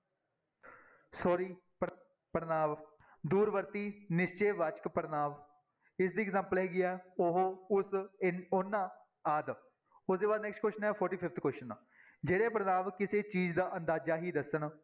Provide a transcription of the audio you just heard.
sorry ਪੜ੍ਹ ਪੜ੍ਹਨਾਂਵ ਦੂਰ ਵਰਤੀ ਨਿਸ਼ਚੈ ਵਾਚਕ ਪੜ੍ਹਨਾਂਵ, ਇਸਦੀ example ਹੈਗੀ ਹੈ ਉਹ, ਉਸ ਇਨ ਉਹਨਾਂ ਆਦਿ ਉਹਦੇ ਬਾਅਦ next question ਹੈ forty fifth question ਜਿਹੜੇ ਪੜ੍ਹਨਾਂਵ ਕਿਸੇ ਚੀਜ਼ ਦਾ ਅੰਦਾਜ਼ਾ ਹੀ ਦੱਸਣ